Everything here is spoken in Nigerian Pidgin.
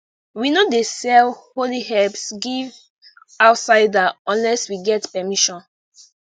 we no dey sell holy herbs give outsider unless we get permission